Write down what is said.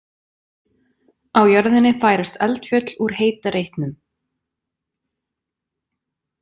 Á jörðinni færast eldfjöll úr heita reitnum.